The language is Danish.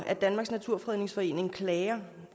at danmarks naturfredningsforening klager